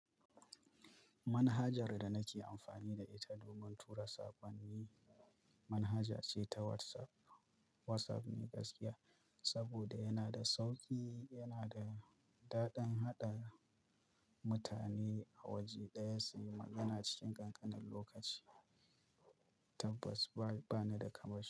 Manhajar da nake amfani da ita domin tura sakonni. Manhaja ce ta WhatsApp WhatsApp ne gaskiya saboda yana da sauƙi, yana da daɗin haɗa mutane a waje ɗaya suyi magana cikin ƙanƙanin lokaci. Tabbas bana da kamashi.